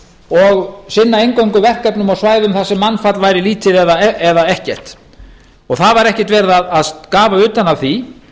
og sinna eingöngu verkefnum á svæðum þar sem mannfall væri lítið eða ekkert það var ekkert verið að skafa utan af því